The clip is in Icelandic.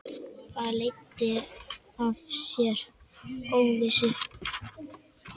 Það leiddi af sér óvissu.